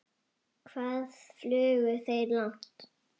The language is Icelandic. Hvað flugu þeir langt?